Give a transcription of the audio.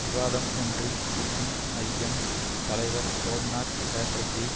விவாதம் ஒன்றில் சிபிஐஎம் தலைவர் சோம்நாத் சேட்டர்ஜி